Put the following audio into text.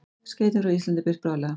Skeytin frá Íslandi birt bráðlega